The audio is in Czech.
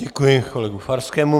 Děkuji kolegu Farskému.